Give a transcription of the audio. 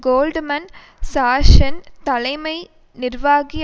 Goldman சாக்ஷ்ஸின் தலைமை நிர்வாகி